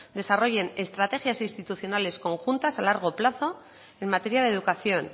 desarrollen estrategias institucionales conjuntas a largo plazo en materia de educación